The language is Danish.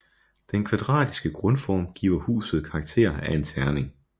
Den kvadratiske grundform giver huset karakter af en terning